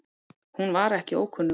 Hún var ekki ókunnug